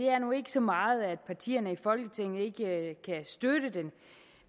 er nu ikke så meget at partierne i folketinget ikke kan støtte den